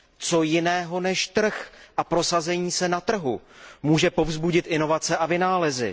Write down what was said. Co jiného než trh a prosazení se na trhu může povzbudit inovace a vynálezy?